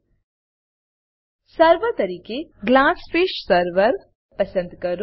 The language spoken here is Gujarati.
સર્વર સર્વર તરીકે ગ્લાસફિશ સર્વર પસંદ કરો